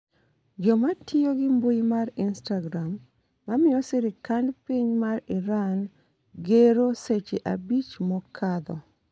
joma tiyo gi mbui mar istagram mamiyo sirikand piny ma Iran gero seche abich mokadho